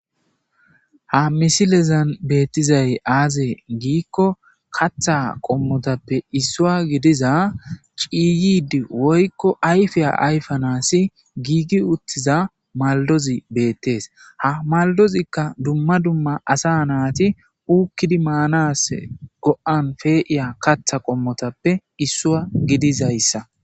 Ha misilezan beettizay aazee giikko katha qommotappe issua gidiza ciyid woykko ayfeya ayfanaasi giigi uttiza maldozi beettees ha maldozikka dumma dumma asa naati uukkidi maanas go'an feeiya katha qommotappe issua gidizayssa.